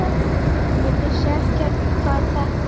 Ég vissi ekkert hvað þetta